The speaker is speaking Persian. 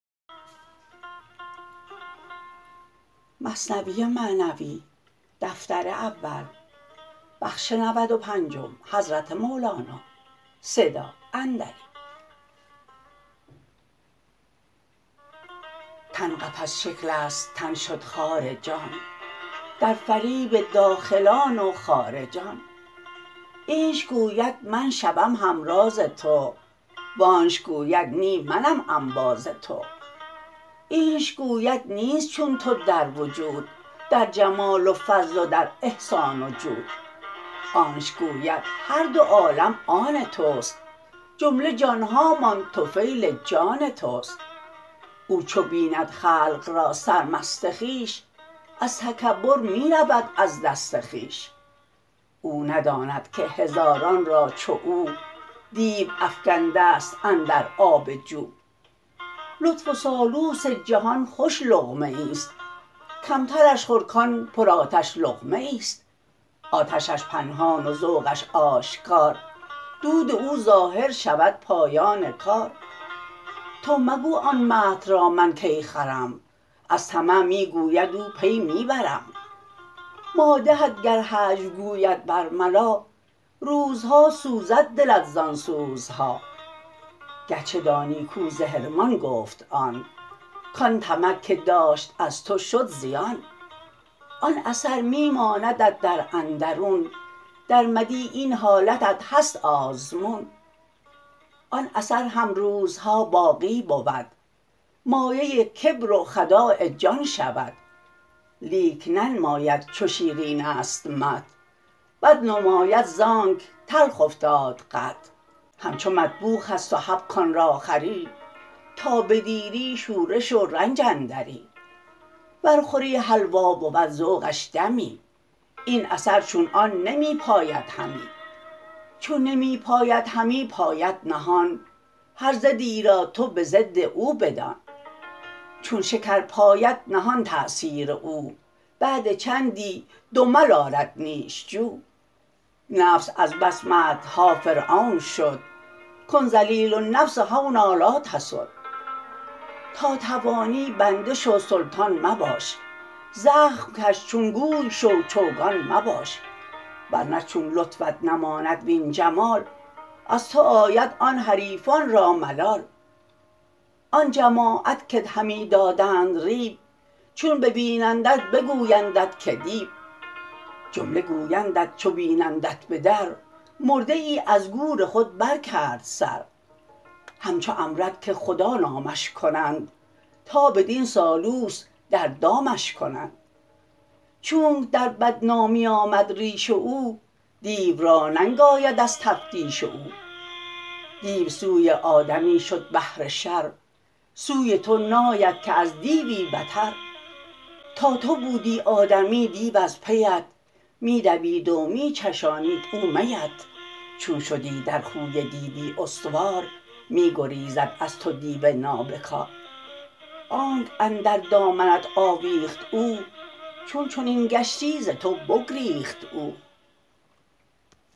تن قفس شکل است تن شد خار جان در فریب داخلان و خارجان اینش گوید من شوم هم راز تو وآنش گوید نی منم انباز تو اینش گوید نیست چون تو در وجود در جمال و فضل و در احسان و جود آنش گوید هر دو عالم آن تست جمله جانهامان طفیل جان تست او چو بیند خلق را سرمست خویش از تکبر می رود از دست خویش او نداند که هزاران را چو او دیو افکنده ست اندر آب جو لطف و سالوس جهان خوش لقمه ای ست کمترش خور کان پر آتش لقمه ای ست آتشش پنهان و ذوقش آشکار دود او ظاهر شود پایان کار تو مگو آن مدح را من کی خورم از طمع می گوید او پی می برم مادحت گر هجو گوید بر ملا روزها سوزد دلت زان سوزها گرچه دانی کو ز حرمان گفت آن کان طمع که داشت از تو شد زیان آن اثر می ماندت در اندرون در مدیح این حالتت هست آزمون آن اثر هم روزها باقی بود مایه کبر و خداع جان شود لیک ننماید چو شیرین است مدح بد نماید زانک تلخ افتاد قدح همچو مطبوخ ست و حب کان را خوری تا بدیری شورش و رنج اندری ور خوری حلوا بود ذوقش دمی این اثر چون آن نمی پاید همی چون نمی پاید همی پاید نهان هر ضدی را تو به ضد او بدان چون شکر پاید نهان تأثیر او بعد حینی دمل آرد نیش جو نفس از بس مدح ها فرعون شد کن ذلیل النفس هونا لا تسد تا توانی بنده شو سلطان مباش زخم کش چون گوی شو چوگان مباش ورنه چون لطفت نماند وین جمال از تو آید آن حریفان را ملال آن جماعت کت همی دادند ریو چون ببینندت بگویندت که دیو جمله گویندت چو بینندت به در مرده ای از گور خود بر کرد سر همچو امرد که خدا نامش کنند تا بدین سالوس در دامش کنند چونک در بدنامی آمد ریش او دیو را ننگ آید از تفتیش او دیو سوی آدمی شد بهر شر سوی تو ناید که از دیوی بتر تا تو بودی آدمی دیو از پیت می دوید و می چشانید او میت چون شدی در خوی دیوی استوار می گریزد از تو دیو نابکار آنک اندر دامنت آویخت او چون چنین گشتی ز تو بگریخت او